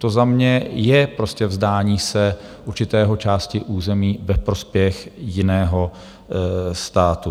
To za mě je prostě vzdání se určité části území ve prospěch jiného státu.